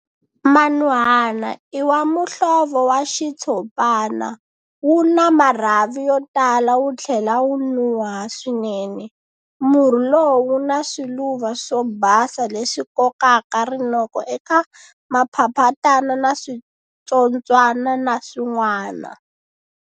Manuhana i wa muhlovo wa xitshopana, wu na marhavi yo tala wu tlhela wu nuha swinene. Murhi lowu wu na swiluva swo basa leswi kokaka rinoko eka maphaphatana na switsotswana na swinwana.